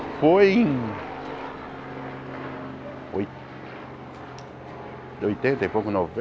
Foi em... oitenta e pouco,